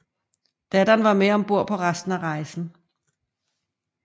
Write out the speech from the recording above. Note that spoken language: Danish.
Datteren var med ombord på resten af rejsen